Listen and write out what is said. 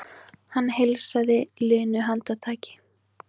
Hann heilsaði linu handtaki.